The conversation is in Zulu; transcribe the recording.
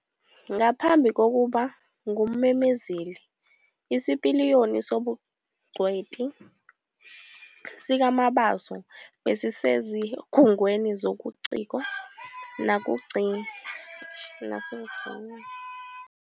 Ngaphambi kokuba ngummemezeli, isipiliyoni sobungcweti sikaMabaso besisezikhungweni zobuciko nasekugcinweni kwezobuciko okuhle.